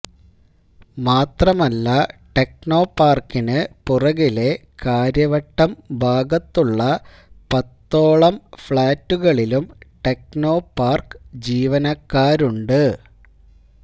മാത്രമല്ല ടെക്നോപാർക്കിന് പുറകിലെ കാര്യവട്ടം ഭാഗത്തുള്ള പത്തോളം ഫ്ളാറ്റുകളിലും ടെക്നോപാർക്ക് ജീവനക്കാരുണ്ട്